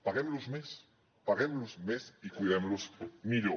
paguemlos més paguemlos més i cuidemlos millor